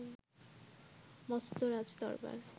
মস্ত রাজদরবার